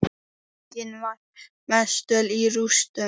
Borgin var mestöll í rústum.